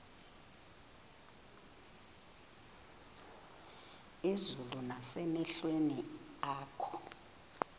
izulu nasemehlweni akho